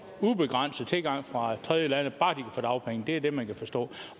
ubegrænset tilgang fra tredjelande bare få dagpenge det er det man kan forstå